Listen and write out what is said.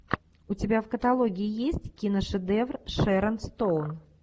у тебя в каталоге есть киношедевр с шерон стоун